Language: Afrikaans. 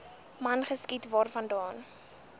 man geskiet waarvandaan